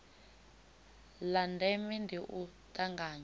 la ndeme ndi u tanganywa